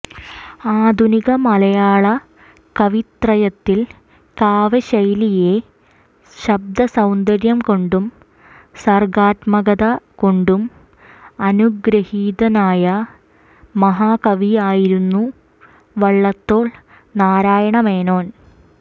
ആധുനിക മലയാള കവിത്രയത്തിൽ കാവ്യശൈലിയിലെ ശബ്ദസൌന്ദര്യം കൊണ്ടും സർഗാത്മകത കൊണ്ടും അനുഗൃഹീതനായ മഹാകവിയായിരുന്നു വള്ളത്തോൾ നാരായണമേനോൻ